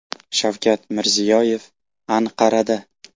Shavkat Mirziyoyev Anqarada.